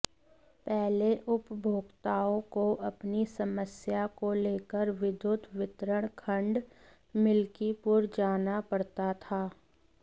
पहले उपभोक्ताओं को अपनी समस्या को लेकर विद्युत वितरण खंड मिल्कीपुर जाना पड़ता था